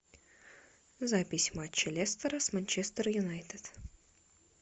запись матча лестера с манчестер юнайтед